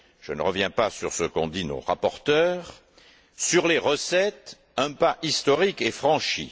je ne reviens pas sur ce qu'ont dit nos rapporteurs. Sur les recettes, un pas historique est franchi.